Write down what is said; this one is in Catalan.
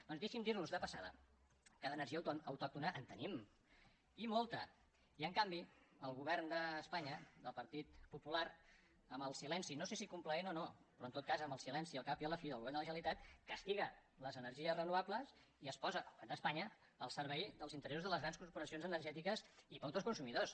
doncs deixi’m dir los de passada que d’energia autòctona en tenim i molta i en canvi el govern d’espanya del partit popular amb el silenci no sé si complaent o no però en tot cas amb el silenci al cap i a la fi del govern de la generalitat castiga les energies renovables i es posa el govern d’espanya al servei dels interessos de les grans corporacions energètiques i no dels consumidors